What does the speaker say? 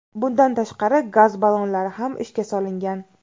Bundan tashqari, gaz ballonlari ham ishga solingan.